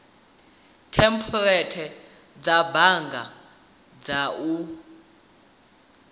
thempuleithi dza bannga na u